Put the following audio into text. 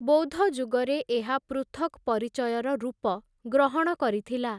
ବୌଦ୍ଧଯୁଗରେ ଏହା ପୃଥକ୍‌ ପରିଚୟର ରୂପ ଗ୍ରହଣ କରିଥିଲା ।